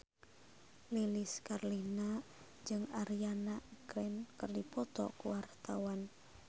Lilis Karlina jeung Ariana Grande keur dipoto ku wartawan